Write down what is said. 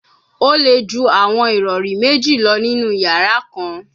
O le ju awọn irọri meji lọ ninu yara kan